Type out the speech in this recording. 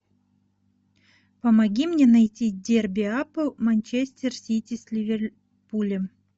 помоги мне найти дерби апл манчестер сити с ливерпулем